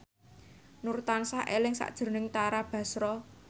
Nur tansah eling sakjroning Tara Basro